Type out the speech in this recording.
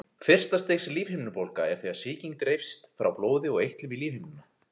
Fyrsta stigs lífhimnubólga er þegar sýking dreifist frá blóði og eitlum í lífhimnuna.